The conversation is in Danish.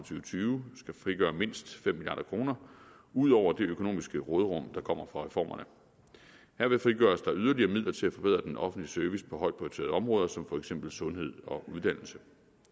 tyve skal frigøre mindst fem milliard kroner ud over det økonomiske råderum der kommer fra reformerne herved frigøres der yderligere midler til at forbedre den offentlige service på højt prioriterede områder som for eksempel sundhed og uddannelse